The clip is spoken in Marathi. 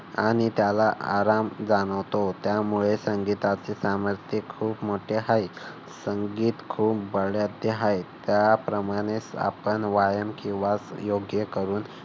आणि त्याला आराम जाणवतो. त्यामुळे संगीताचे सामर्थ्य खूप मोठे आहे. संगीत खूप बलाढ्य आहे. त्याप्रमाणेच आपण व्यायाम किंवा योग्य करू